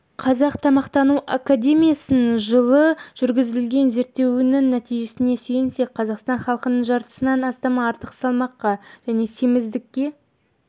қазақ тағамтану академиясының жылы жүргізген зерттеуінің нәтижесіне сүйенсек қазақстан халқының жартысынан астамы артық салмаққа және семіздікке